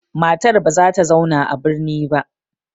Matar ba za ta zauna a birni ba.